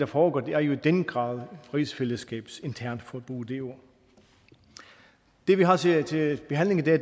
foregår er jo i den grad rigsfællesskabsinternt for nu at bruge det ord det vi har til til behandling i dag